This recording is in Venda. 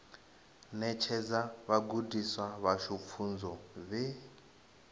ṋetshedza vhagudiswa vhashu pfunzo vhe